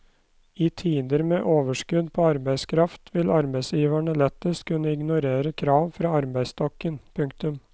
I tider med overskudd på arbeidskraft vil arbeidsgiverne lettest kunne ignorere krav fra arbeidsstokken. punktum